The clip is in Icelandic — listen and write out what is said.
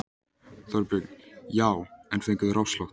Þorbjörn: Já en fengu þeir afslátt?